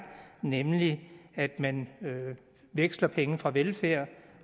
nemlig at man veksler penge fra velfærd